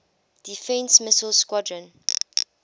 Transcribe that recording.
defense missile squadron